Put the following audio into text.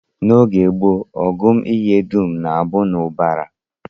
N'oge gboo, ọgụ ihe dum na-abụ n'ubara